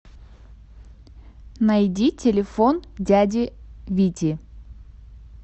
найди телефон дяди вити